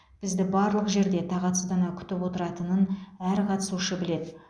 бізді барлық жерде тағатсыздана күтіп отыратынын әр қатысушы біледі